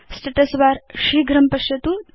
status bar शीघ्रं पश्यतु